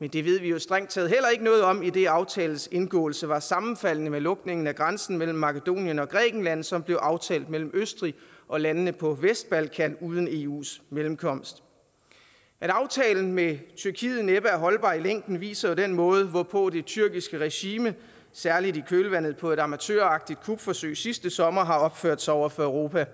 men det ved vi jo strengt taget heller ikke noget om idet aftalens indgåelse var sammenfaldende med lukningen af grænsen mellem makedonien og grækenland som blev aftalt mellem østrig og landene på vestbalkan uden eus mellemkomst at aftalen med tyrkiet næppe er holdbar i længden vises jo i den måde hvorpå det tyrkiske regime særlig i kølvandet på et amatøragtigt kupforsøg sidste sommer har opført sig over for europa